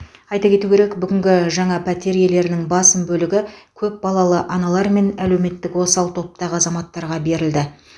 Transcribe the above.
айта кету керек бүгінгі жаңа пәтер иелерінің басым бөлігі көп балалы аналар мен әлеуметтік осал топтағы азаматтарға берілді